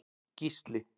Gísli